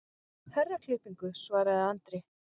Herraklippingu, svaraði Andri.